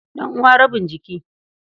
Ɗan'uwa rabin jiki.